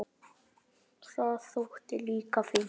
Það þótti líka fínt.